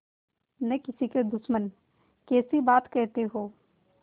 न किसी के दुश्मन कैसी बात कहते हो